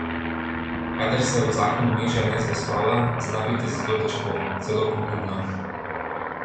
Kadar se v zakon vmeša nezvestoba, zna biti zelo težko, celo pogubno.